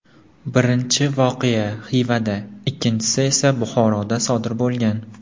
Birinchi voqea Xivada, ikkinchisi esa Buxoroda sodir bo‘lgan.